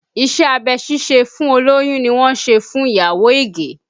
Iṣẹ́ abẹ ṣíṣe fún olóyún ni wọ́n ṣe fún ìyàwó Ige